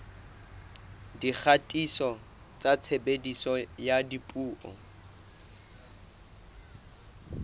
dikgatiso tsa tshebediso ya dipuo